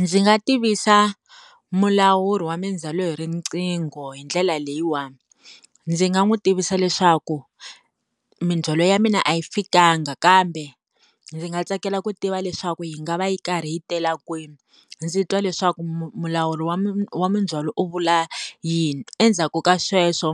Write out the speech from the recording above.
Ndzi nga tivisa mulawuri wa mindzhwalo hi riqingho hi ndlela leyiwani ndzi nga n'wi tivisa leswaku mindzhwalo ya mina a yi fikanga kambe ndzi nga tsakela ku tiva leswaku yi nga va yi karhi yi tela kwini ndzi twa leswaku mulawuri wa wa mindzhwaloi u vula yini endzhaku ka sweswo